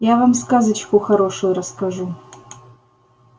я вам сказочку хорошую расскажу